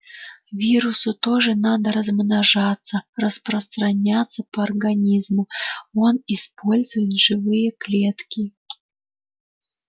вирусу тоже надо размножаться распространяться по организму он использует живые клетки